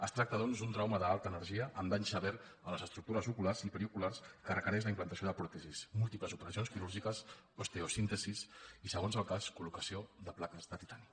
es tracta doncs d’un trauma d’alta energia amb dany sever a les estructures oculars i perioculars que requereix la implantació de pròtesis múltiples operacions quirúrgiques osteosíntesi i segons el cas col·locació de plaques de titani